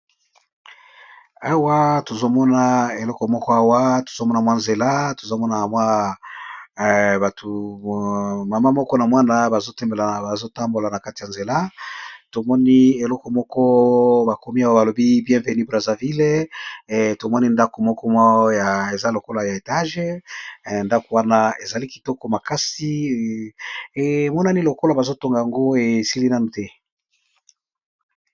Awa tozo mona eleko moko awa. Tozo mona mwa nzela tozo mona batu mama moko na mwana bazo tambola na kati ya nzela. Tomoni eleko moko ba komi awa ba lobi bien veni Brazaville. Tomoni ndako moko eza lokola ya etage. Ndako wana ezali kitoko makasi. Emonani lokola bazo tonga yango esili nanu te.